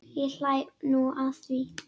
Ég hlæ nú að því.